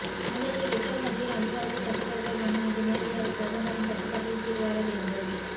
முதலில் ரிசர்வ் வங்கியின் அதிகாரத்தை கட்டுப்படுத்த வேண்டும் இது நேரடியாக பிரதமரின் கட்டுப்பாட்டின் கீழ் வர வேண்டும்